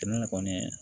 Ne kɔni